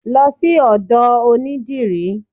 Lọ sí odò onidírì!